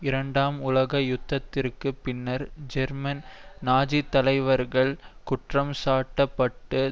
இரண்டாம் உலக யுத்தத்திற்கு பின்னர் ஜெர்மன் நாஜி தலைவர்கள் குற்றம்சாட்டப்பட்டு